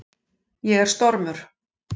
Ég er stormur.